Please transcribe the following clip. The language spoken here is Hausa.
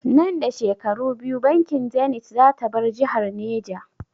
Nan da shekaru biyu bankin zanith zata bar jihar Neja